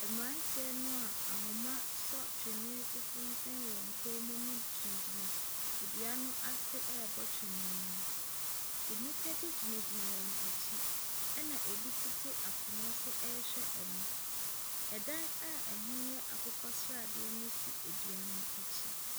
Mmeranteɛ no a ahoma sɔ twene so sensɛn wɔn kɔn mu no gyinagyina dua bi ase ɛrebɔ twene no. Nnipa bi gyinagyina wɔn akyi na ɛbi nso tete akonnwa so ɛrehwɛ wɔn. Dan a ɛho yɛ akokɔsradeɛ no si dua no akyi.